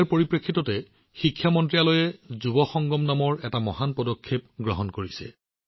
এই কথা লক্ষ্য ৰাখি শিক্ষা মন্ত্ৰালয়ে যুৱসংগম নামৰ এক উৎকৃষ্ট পদক্ষেপ গ্ৰহণ কৰিছে